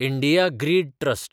India grid trust